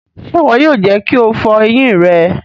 Ṣe iwọ yoo jẹ ki o fọ eyin rẹ!